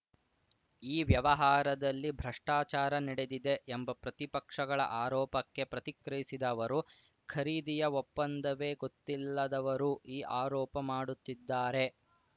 ಈ ವ್ಯವಹಾರದಲ್ಲಿ ಭ್ರಷ್ಟಾಚಾರ ನಡೆದಿದೆ ಎಂಬ ಪ್ರತಿಪಕ್ಷಗಳ ಆರೋಪಕ್ಕೆ ಪ್ರತಿಕ್ರಿಯಿಸಿದ ಅವರು ಖರೀದಿಯ ಒಪ್ಪಂದವೇ ಗೊತ್ತಿಲ್ಲದವರು ಈ ಆರೋಪ ಮಾಡುತ್ತಿದ್ದಾರೆ